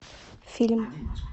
фильм